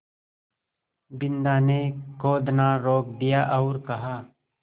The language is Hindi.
बिन्दा ने खोदना रोक दिया और कहा